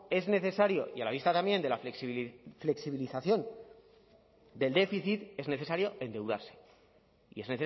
es necesario y a la vista también de la flexibilización del déficit es necesario endeudarse y es